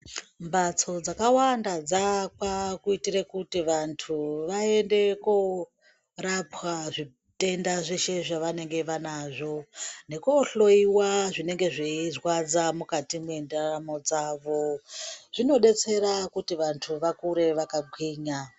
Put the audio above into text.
Mbatso dzakawanda dzakwa kuyitire kuti vantu vayende korapwa zvitenda zveshe zvavanenge vanazvo, nekohloyiwa zvinenge zveyizvadza mukati mendaramo dzavo. Zvinodetsera kuti vantu vakure vakagwinya.